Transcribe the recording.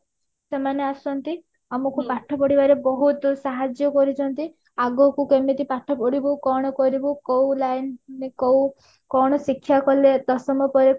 ସେମାନେ ଆସନ୍ତି ଆମକୁ ପାଠ ପଢିବାରେ ବହୁତ ସାହାଜ୍ଯ କରିଛନ୍ତି ଆଗକୁ ଏମିତି ପାଠ ପଢିବୁ କଣ କରିବୁ କୋଉ line କୋଉ କଣ ଶିକ୍ଷା କଲେ ଦଶମ ପରେ